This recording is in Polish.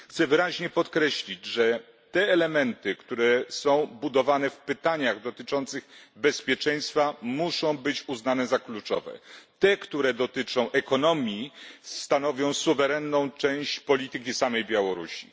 Chciałbym wyraźnie podkreślić, że te elementy, które są budowane w pytaniach dotyczących bezpieczeństwa, muszą być uznane za kluczowe. Te elementy, które dotyczą ekonomii, stanowią suwerenną część polityki samej Białorusi.